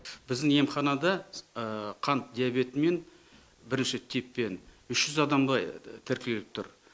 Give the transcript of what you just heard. біздің емханада қант диабетімен бірінші типпен үш жүз адамдай тіркеліп тұр